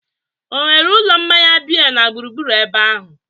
ọ nwere ụlọ mmanya biya na gburugburu ebe ahụ?